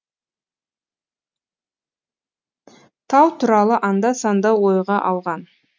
тау туралы анда санда ойға алған